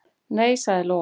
"""Nei, sagði Lóa."""